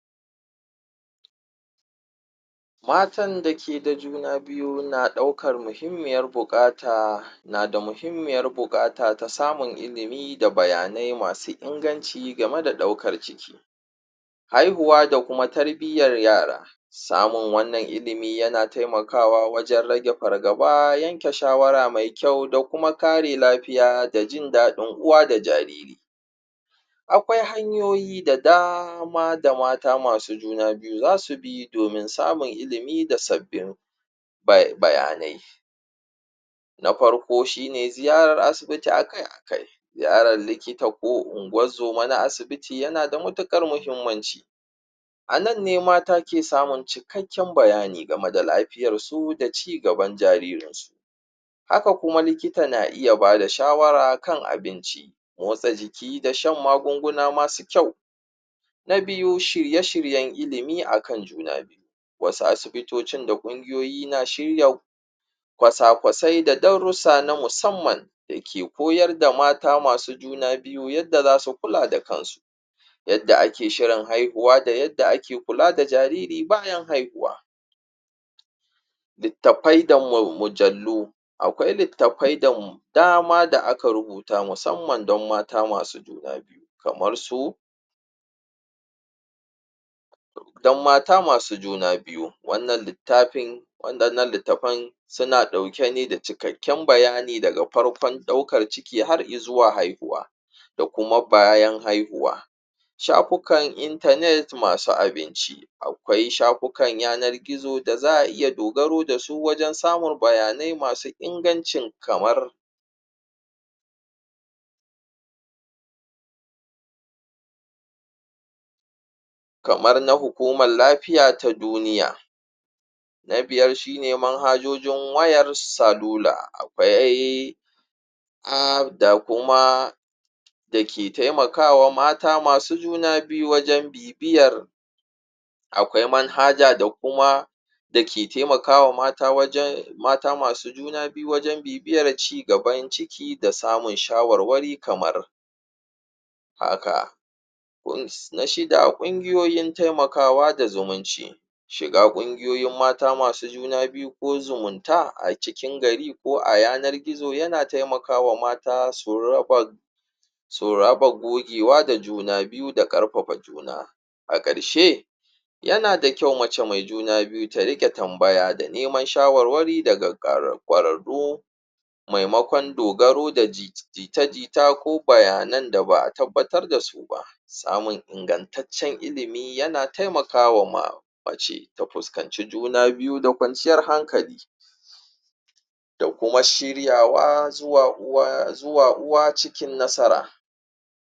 matan da ke da juna biyu na ɗaukar muhimmiyar buƙata tasamun ilimi da bayanai masu inganci game da ɗaukar ciki haihuwa da kuma tarbiyyar yara samun wannan ilimi yana taimakawa wajan rage fargaba yanke shawara me kyau da kuma kare lafiya da jindaɗin uwa da jariri aƙwai hanyoyi da dama da mata masu juna biyu zasu bi domin samun ilimi da sabbin bayanai na farko shine ziyarar asibiti akai akai yaran likita ko ungozuma na asibiti yana da matuƙar mahimmanci anan ne mata ke samun cikakkin bayani game da lafiyarsu da cigaban jariri haka kuma likita na iya bada shawara kan abinci motsa jiki da shan magunguna masu kyau na biyu shirye shiryan limi akan juna biyu wasu asibitocin da kungiyoyi na shirya ƙwasaƙwasai da darusa na musamman dake koyar da mata masu juna biyu yadda zasu kula da kansu yadda ake shirin haihuwa da yadda ake kula da jariri bayan haihuwa littafai da mujallu aƙwai littafai da dama da aka rubuta musamman dan mata masu juna biyu kamarsu dan mata masu juna biyu wannan littafan suna ɗauke ne da cikakkin bayani daga farkon ɗaukar ciki har izuwa haihuwa da kuma bayan haihuwa shafukan internet masu abinci aƙwai shafukan yanar gizo da za a iya dogaru dasu wajan samun bayanai masu ingancin kamar hukumar lafiya ta duniya na biyar shine manhajujin wayar salula akwai dake taimakawa mata masu juna biyu wajan bibiyar aƙwai manhaja da kuma dake taimakawa mata wajan mata masu juna biyu wajan bibiyar cigaban ciki da samun shawarwari kamar haka na shida kungiyoyin taimakawa da zumunci shiga kungiyoyin mata masu juna biyu ko zumunta a cikin gari ko a yanar gizo yana taimakawa mata su raba su rabu gogewa da juna biyu da ƙarfafa juna a karshe yana da kyau mace me juna biyu ta riƙa tambaya da neman shawarwari daga ƙwararru maimaƙon dogaru da jita jita ko bayanan da ba a tabbatar dasu ba samun ingantatcan ilimi yana taimakawa mace ta fuskanci juna biyu da ƙwanciyar hankali da kuma shiryawa zuwa uwa cikin nasara